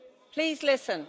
please listen